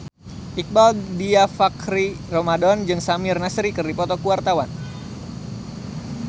Iqbaal Dhiafakhri Ramadhan jeung Samir Nasri keur dipoto ku wartawan